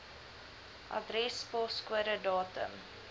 adres poskode datum